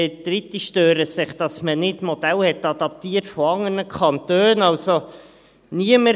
Dritte stören sich daran, dass man nicht Modelle von anderen Kantonen adaptiert hat.